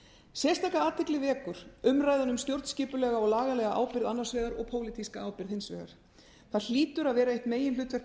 sérstaka athygli vekur umræðan um stjórnskipulega og lagalega ábyrgð annars vegar og pólitíska ábyrgð hins vegar það hlýtur að vera eitt meginhlutverk